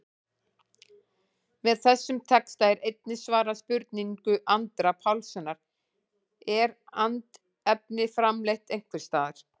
Með þessum texta er einnig svarað spurningu Andra Pálssonar, Er andefni framleitt einhvers staðar?